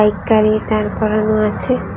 একটি গাড়ি দাঁড় করানো আছে।